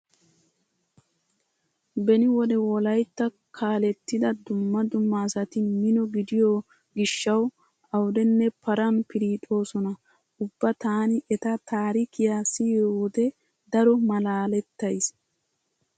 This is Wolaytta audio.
Beni wode wolaytta kaalettida dumma dumma asati mino gidiyo gishshawu awudenne paran piriixoosona. Ubba taani eta taarikiya siyiyo wode daro malaalettays.